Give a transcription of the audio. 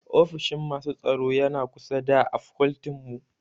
Ofishin masu tsaro yana kusa da a fakoltin mu